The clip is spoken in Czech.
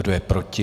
Kdo je proti?